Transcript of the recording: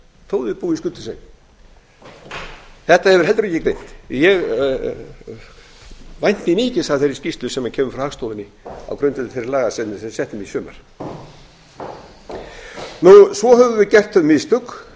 þó þeir búi í skuldlausri eign þetta hefur heldur ekki ég vænti mikils af þeirri skýrslu sem kemur frá hagstofunni á grundvelli þeirra laga sem við settum í sumar svo höfum við gert þau mistök